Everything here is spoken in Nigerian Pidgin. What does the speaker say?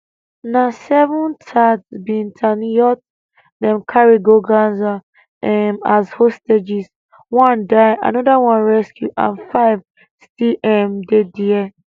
na seven tatzpitaniyot dem carry go gaza um as hostages one die anoda one rescue and five still um dey dia